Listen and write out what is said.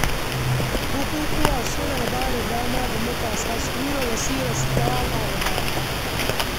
Bukukuwa suna bada dama ga matasa su nuna basirarsu ta waka da rawa.